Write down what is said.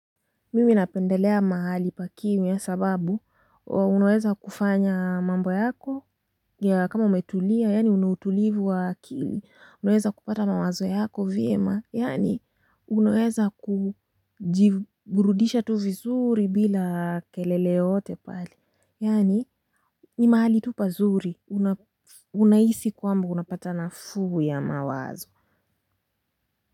Mimi napendelea mahali pa kimya kwa sababu, unaweza kufanya mambo yako, ya kama umetulia, yaani unautulivu wa akili, unaweza kupata mawazo yako vyema, yaani unaweza kujiburudisha tu vizuri bila kelele yote pale, yaani ni mahali tu pazuri, unahisi kwamba unapata na fugu ya mawazo.